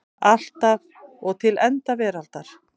Alltaf og til enda veraldar.